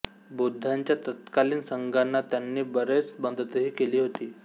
बौद्धांच्या तत्कालीन संघांना त्याने बरीच मदतही केली होती